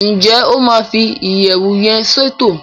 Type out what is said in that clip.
Njé o ma fi iyẹwu yén ṣètò?